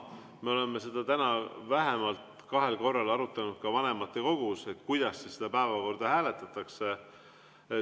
Me oleme täna vähemalt kahel korral arutanud ka vanematekogus, kuidas seda päevakorda hääletatakse.